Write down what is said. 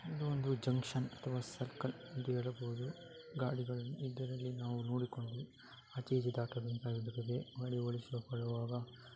ಇದು ಒಂದು ಜಂಕ್ಷನ್ ಅಥವಾ ಸರ್ಕಲ್ ಎಂದು ಹೇಳಬಹುದು ಗಾಡಿಗಳನ್ನು ಇದರಲ್ಲಿ ನಾವು ನೋಡಿಕೊಂಡು ಆಚೆ ಈಚೆ ದಾಟಬೇಕಾಗುತ್ತದೆ ಓಡಿಸಿಕೊಳ್ಳುವಾಗ .